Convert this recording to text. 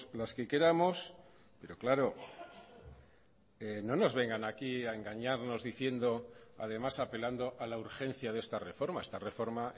las que queramos pero claro no nos vengan aquí a engañarnos diciendo además apelando a la urgencia de esta reforma esta reforma